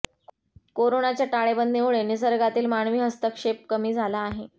कोरोनाच्या टाळेबंदीमुळे निसर्गातील मानवी हस्तक्षेप कमी झाला आहे